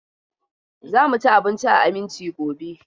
Za mu ci abinci a Aminci gobe.